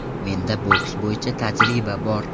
Menda boks bo‘yicha tajriba bor.